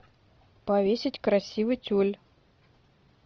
повесить красивый тюль